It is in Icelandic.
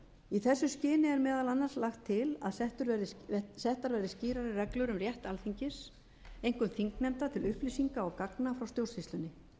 í þessu skyni er meðal annars lagt til að settar verði skýrari reglur um rétt alþingis einkum þingnefnda til upplýsinga og gagna frá stjórnsýslunni að